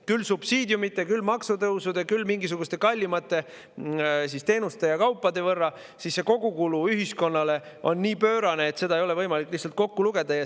– küll subsiidiumide, küll maksutõusude, küll kallimate teenuste ja kaupade tõttu, siis see kogukulu ühiskonnale on nii pöörane, et seda ei ole võimalik lihtsalt kokku lugeda.